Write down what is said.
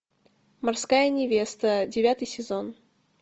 морская невеста девятый сезон